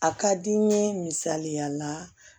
A ka di n ye misaliya la